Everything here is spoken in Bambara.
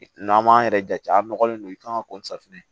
N'an m'an yɛrɛ jate a nɔgɔlen don i kan ka kɔnfilɛ